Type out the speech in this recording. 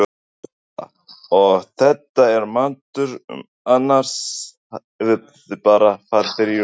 Erla: Og þetta er matur sem annars hefði bara farið í ruslið?